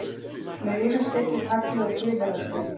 Með yfirskeggi, tagli og tilheyrandi.